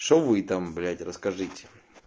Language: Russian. что вы там блять расскажите